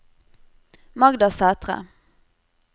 Magda Sæthre